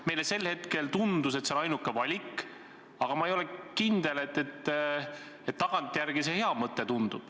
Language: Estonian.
Meile sel hetkel tundus, et see on ainuke valik, aga ma ei ole tagantjärele kindel, et see hea mõte oli.